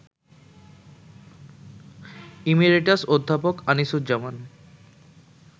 emeritus অধ্যাপক আনিসুজ্জামান